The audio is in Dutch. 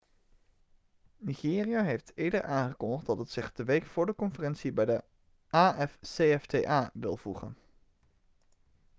nigeria heeft eerder aangekondigd dat het zich de week voor de conferentie bij de afcfta wil voegen